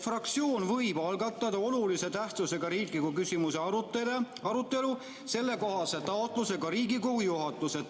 fraktsioon võib algatada olulise tähtsusega riikliku küsimuse arutelu, esitades sellekohase taotluse Riigikogu juhatusele.